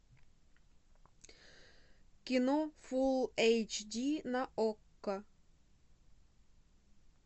кино фул эйч ди на окко